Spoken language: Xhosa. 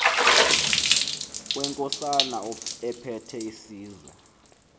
wenkosana ephethe isizwe